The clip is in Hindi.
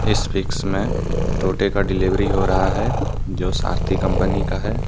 इस पिक्स में टोटे का डिलीवरी हो रहा है जो सारथी कंपनी का है।